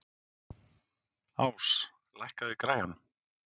Ás, lækkaðu í græjunum.